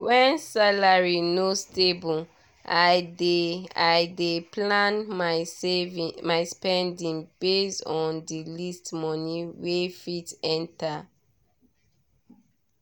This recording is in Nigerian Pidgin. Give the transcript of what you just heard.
when salary no stable i dey i dey plan my saving my spending based on the least money wey fit enter.